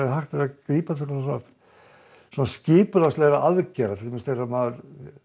hægt að grípa til aðgerða til dæmis þegar maður